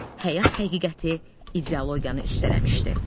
həyat həqiqəti ideologiyanı üstələmişdi.